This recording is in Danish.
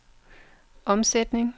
omsætning